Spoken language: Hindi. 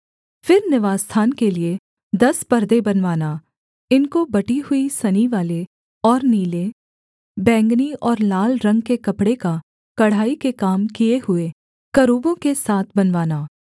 फिर निवासस्थान के लिये दस परदे बनवाना इनको बटी हुई सनीवाले और नीले बैंगनी और लाल रंग के कपड़े का कढ़ाई के काम किए हुए करूबों के साथ बनवाना